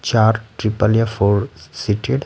चार ट्रिपल या four seated --